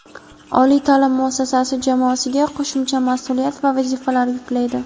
oliy ta’lim muassasasi jamoasiga qo‘shimcha mas’uliyat va vazifalar yuklaydi.